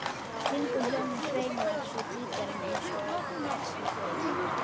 Kringum hljómana sveimar svo gítarinn eins og nærsýnn fugl.